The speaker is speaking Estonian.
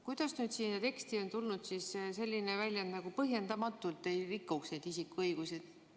Kuidas siis sellesse teksti on tulnud selline väljend nagu "põhjendamatult ei riivata isikuõigusi"?